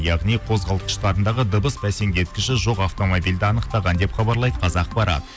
яғни қозғалтқыштарындағы дыбыс бәсеңдеткіші жоқ автомобильді анықтаған деп хабарлайды қазақпарат